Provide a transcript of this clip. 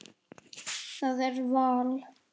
Það er val.